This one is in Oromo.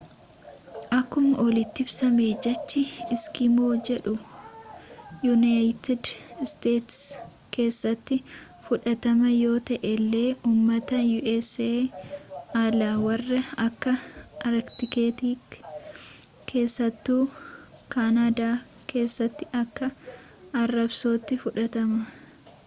akkuma oliiti ibsame jechi eskimo” jedhu yuunayiitid isteets keessatti fudhatamaa yoo ta’ellee uummata u.s alaa warra akka arkiitikii’tti keessattuu kaanadaa keessatti akka arrabsootti fudhatama